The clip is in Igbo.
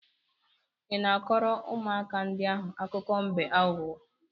Ị na-akọrọ ụmụaka ndị ahụ akụkọ mbe aghụghọ?